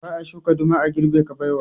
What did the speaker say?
Ba a shuka duma a girbe kabewa